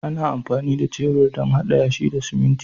Ana amfani da shebur don haɗa yashi da siminti